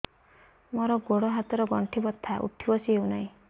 ମୋର ଗୋଡ଼ ହାତ ର ଗଣ୍ଠି ବଥା ଉଠି ବସି ହେଉନାହିଁ